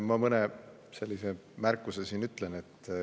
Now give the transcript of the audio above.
Ma mõne märkuse ütlen.